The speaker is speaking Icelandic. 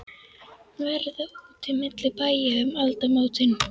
Verða úti milli bæja um aldamótin?